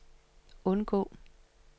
undgå